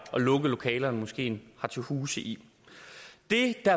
at lukke lokalerne moskeen har til huse i det der